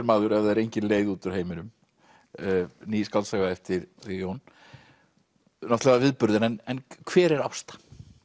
maður ef það er engin leið út úr heiminum ný skáldsaga eftir þig Jón náttúrulega viðburður en hver er Ásta